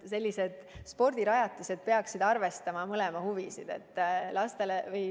Sellised spordirajatised peaksid arvestama mõlema huvisid.